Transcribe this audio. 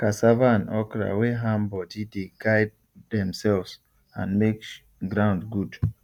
cassava and okra wey ham body dey guard themselves and make ground good